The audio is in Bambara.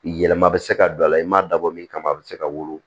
Yɛlɛma bɛ se ka don a la i m'a dabɔ min kama a bɛ se ka wolo